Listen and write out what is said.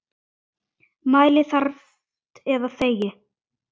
Mæli þarft eða þegi.